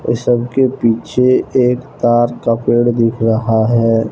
सबके पीछे एक तार का पेड़ दिख रहा है।